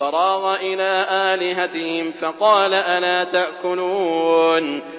فَرَاغَ إِلَىٰ آلِهَتِهِمْ فَقَالَ أَلَا تَأْكُلُونَ